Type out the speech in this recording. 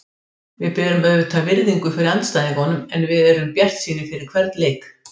Við berum auðvitað virðingu fyrir andstæðingunum en við erum bjartsýnir fyrir hvern leik.